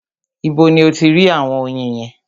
Ibo ni o ti rí àwọn oyin yẹn?